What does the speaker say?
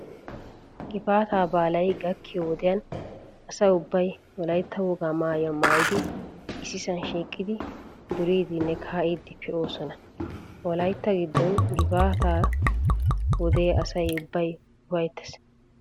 Gifaataa baalay gakkiyo wodiyan asa ubbay wolaytta wogaa maayuwa maayidi issisaa shiiqidi duriiddinne kaa"iiddi pee"oosona. Wolaytta giddon gifaataa wode asay ubbay ufayttees.